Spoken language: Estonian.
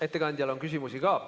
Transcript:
Ettekandjale on küsimusi ka.